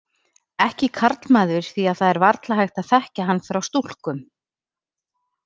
Ekki karlmaður því að það er varla hægt að þekkja hann frá stúlkum.